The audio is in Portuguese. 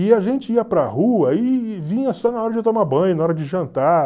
E a gente ia para a rua e vinha só na hora de eu tomar banho, na hora de jantar.